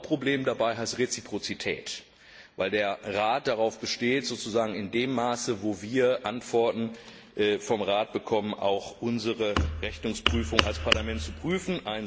Das Hauptproblem dabei heißt Reziprozität, weil der Rat darauf besteht, sozusagen in dem Maße, in dem wir Antworten vom Rat bekommen, auch unsere Rechnungsprüfung als Parlament zu prüfen.